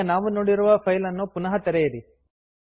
ಈಗ ನಾವು ನೋಡಿರುವ ಫೈಲ್ ಅನ್ನು ಪುನಃ ತೆರೆಯಿರಿ